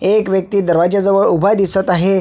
एक व्यक्ति दरवाजा जवळ उभा दिसत आहे.